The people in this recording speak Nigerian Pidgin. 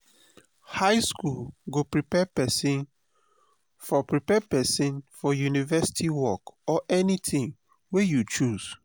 high school go prepare pesin for prepare pesin for university work or anything wey you choose.